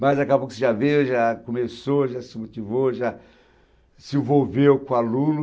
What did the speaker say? Mas, daqui a pouco, você já veio, já começou, já se motivou, já se envolveu com o aluno.